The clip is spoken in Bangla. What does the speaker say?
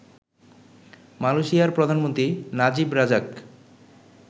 মালয়েশিয়ার প্রধানমন্ত্রী নাজিব রাজাক